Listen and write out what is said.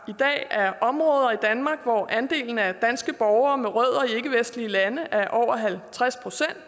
i dag er områder i danmark hvor andelen af danske borgere med rødder i ikkevestlige lande er over halvtreds procent